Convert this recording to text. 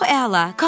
Çox əla!